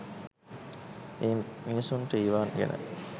ඒත් මිනිසුන්ට ඒවා ගැන